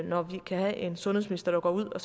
når vi kan have en sundhedsminister der går ud og